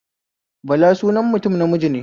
Bala sunan mutum namiji ne